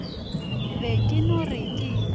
be ke no re ke